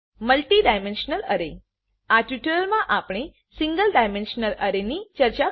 multi dimensional array આ ટ્યુટોરીયલમાં આપણે single dimensional array single dimensional array ની ચર્ચા કરીશું